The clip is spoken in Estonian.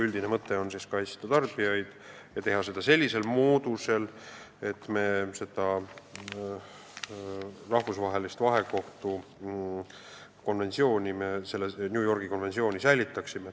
Üldine mõte on kaitsta tarbijaid ja teha seda sellisel moel, et me rahvusvahelist vahekohtu konventsiooni, New Yorgi konventsiooni täidaksime.